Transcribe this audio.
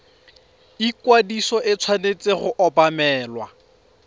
ikwadiso e tshwanetse go obamelwa